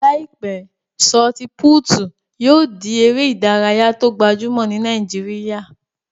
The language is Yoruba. Láìpẹ́, sọọti-pútù yóò di eré ìdárayá tó gbajúmọ̀ ní Nàìjíríyà